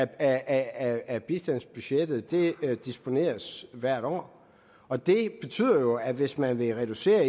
af bistandsbudgettet der disponeres til hvert år og det betyder jo at hvis man vil reducere